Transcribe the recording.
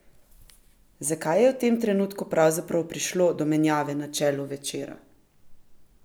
Zakaj je v tem trenutku pravzaprav prišlo do menjave na čelu Večera?